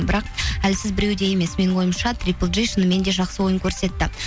бірақ әлсіз біреуде емес менің ойымша триплджи шынымен де жақсы ойын көрсетті